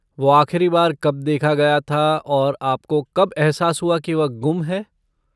वो आख़िरी बार कब देखा गया था और आपको कब एहसास हुआ कि वह गुम है?